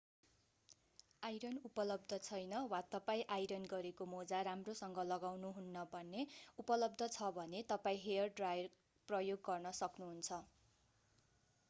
iron उपलब्ध छैन वा तपाईं आइरन गरेको मोजा राम्रोसँग लगाउनुहुन्न भने उपलब्ध छ भने तपाईं हेयर ड्रायर प्रयोग गर्न सक्नु हुन्छ